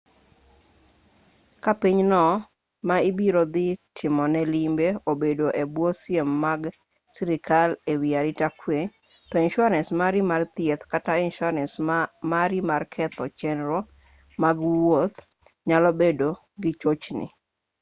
ka pinyno ma ibiro dhi tomoe limbe obedo e bwo siem mag sirkal e wi arita kwe to insuarans mari mar thieth kata insuarance mari mar ketho chenro mag wuoth nyalo bedo gi chochni